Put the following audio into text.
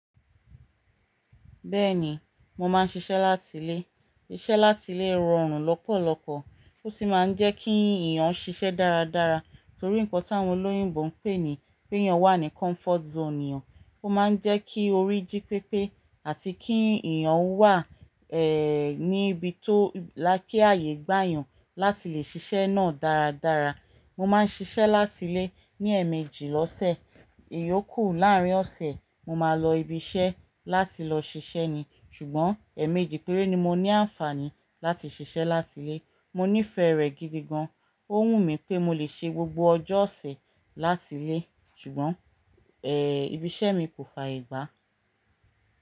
Bẹ́ẹ̀ni, mo máa ń ṣiṣẹ́ láti ilé. Iṣẹ́ láti ilé rọrùn lọ́pọ̀lọpọ̀ ó sì máa ń jẹ́ kí èèyàn ṣiṣẹ́ dáradára torí nǹkan tí àwọn olóyìnbo ń pè ní pé yàn wà ní comfort zone eeyan. Ó máa ń jẹ́ kí orí jí pépé àti kí èèyàn ó wà, ní ibi tó láki ààyè gbàyàn láti lè ṣiṣẹ́ náà dáradára. Mo máa ń ṣiṣẹ́ láti ilé ní ẹ̀mejì lọ́sẹ̀. Iyokù láàrín ọ̀sẹ̀, mo máa lọ ibi iṣẹ́ láti lọ ṣiṣẹ́ ni. Ṣùgbọ́n ẹ̀mejì péré ni mo ní àǹfààní láti ṣiṣẹ́ láti ilé. Mo nífẹ̀ẹ́ rẹ̀ gidi gan. Ó wù mí pé mo lè ṣe gbogbo ọjọ́ ọ̀sẹ̀ láti ilé. Ṣùgbọ́n, ibi iṣẹ́ mi kò fààyè gbà.